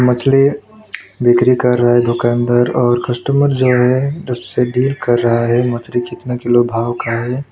मछली बिक्री कर रहा है दुकानदार और कस्टमर जो है उससे डील कर रहा है मछली कितना किलो भाव का है।